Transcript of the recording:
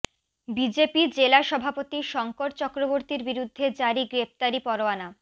BJP জেলা সভাপতি শঙ্কর চক্রবর্তীর বিরুদ্ধে জারি গ্রেফতারি পরোয়ানা